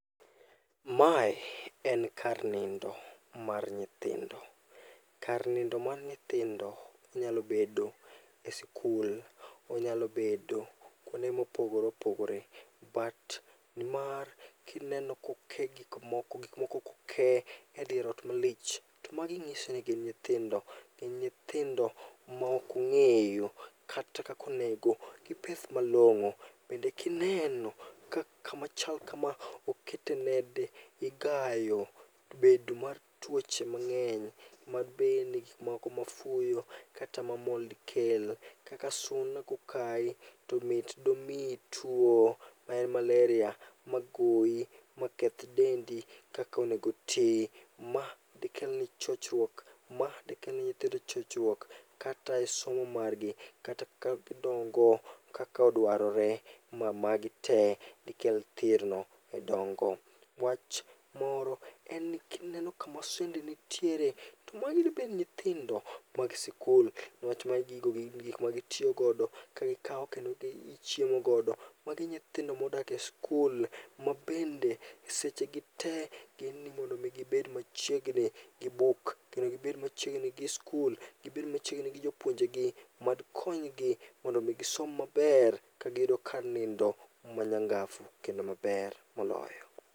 Mae en kar nindo mar nyithindo. Kar nindo mar nyithindo nyalo bedo e sikul onyalo bedo kuonde mopogore opogor. But mar kineno koke gikmoko gikmoko koke e dier ot malich to magi ng'isi ni gin nyithindo. Gin nyithindo maokong'eyo kata kakonego gipeth malong'o. Bende kineno ka kamachal kama okete nede, igayo bedo mar tuoche mag'eny. Ma bende gikmoko ma fuyo, kata ma mold kelo. Kaka suna kokayi, to mit domiyi tuo mar maleria, ma goyi maketh dendi kakonego ti. Ma dekelni chochruok, ma dekelne nyithindo chochruok kata e somo margi. Kata ka gidongo kaka odwarore ma magi te dikel thirno e dongo. Wach moro en ni kineno kama sende nitiere, to magi debed nyithindo mag sikul. Niwach magi gigo gin gik ma gitiyogodo kagikawo kendo gichiemo godo, magi nyithindo modak e skul. Ma bende seche gi te, gin ni mondo mi gibed machiegni gi buk, kendo gibed machiegni gi skul, gibed machiegni gi jopunojegi mad konygi mondo mi gisom maber ka giyudo kar nindo manyangafu kendo maber moloyo.